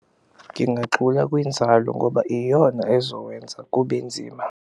Ngingagxula kwinzalo ngoba iyona ezowenza kube nzima.